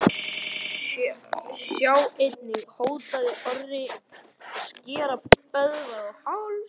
Sjá einnig: Hótaði Einar Orri að skera Böðvar á háls?